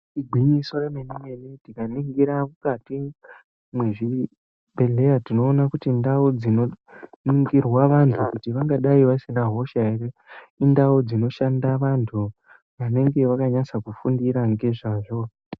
igwinyiso remene mene tikaringira mukati mezvibhehlera tinowone kuti ndau dzinoringirwa antu kuti vangadai vasina hosha here, indawo dzinoshanda antu mune ndau dzinoshanda antu vanenge vakanyatsa fundira nezvazvo.